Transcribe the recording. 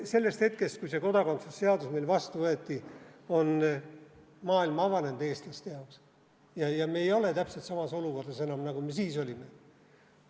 Sellest hetkest, kui see kodakondsuse seadus meil vastu võeti, on maailm eestlaste jaoks avanenud ja me ei ole enam täpselt samas olukorras, nagu me siis olime.